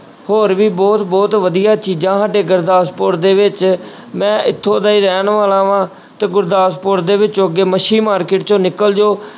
ਹੋਰ ਵੀ ਬਹੁਤ ਬਹੁਤ ਵਧੀਆ ਚੀਜ਼ਾਂ ਸਾਡੇ ਗੁਰਦਾਸਪੁਰ ਦੇ ਵਿੱਚ ਮੈਂ ਇੱਥੋਂ ਦਾ ਹੀ ਰਹਿਣ ਵਾਲਾ ਵਾਂਂ ਤੇ ਗੁਰਦਾਸਪੁਰ ਦੇ ਵਿੱਚੋਂ ਅੱਗੇ ਮੱਛੀ market ਚੋਂ ਨਿਕਲ ਜਾਓ